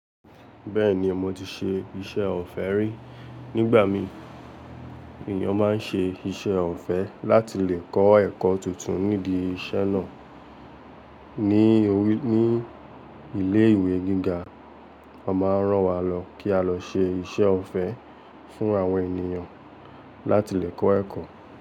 Bẹ́ẹ̀ni, mo ti ṣe iṣẹ́ ọ̀fẹ́ rí. Nígbà mí, ènìyàn máa ń ṣe iṣẹ́ ọ̀fẹ́ láti lè kọ́ ẹ̀kọ́ tuntun nídi iṣẹ́ náà. Ni ní ilé ìwé gíga, wọ́n máa ń rán wa lọ kí á lọ ṣe iṣẹ́ ọ̀fẹ́ fún àwọn ènìyàn láti lè kọ́ ẹ̀kọ́.